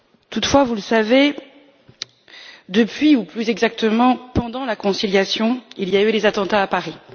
Toutefois, vous le savez, depuis ou plus exactement pendant la conciliation, il y a eu les attentats à Paris.